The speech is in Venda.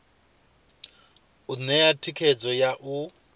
u ṋea thikhedzo ya u